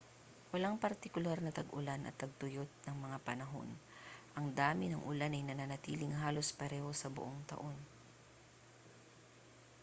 walang partikular na tag-ulan at tagtuyot na mga panahon ang dami ng ulan ay nananatiling halos pareho sa buong taon